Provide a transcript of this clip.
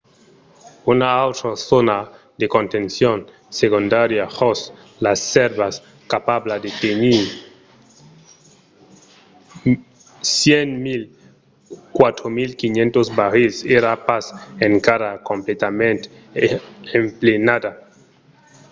una autra zòna de contencion segondària jos las sèrvas capabla de tenir 104.500 barrils èra pas encara completament emplenada